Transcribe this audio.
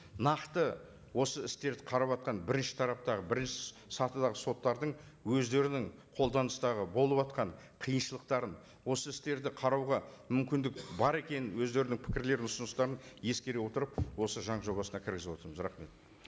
нақты осы істерді қараватқан бірінші тараптағы бірінші сатыдағы соттардың өздерінің қолданыстағы болыватқан қиыншылықтарын осы істерді қарауға мүмкіндік бар екенін өздерінің пікірлерін ұсыныстарын ескере отырып осы заң жобасына кіргізіп отырмыз рахмет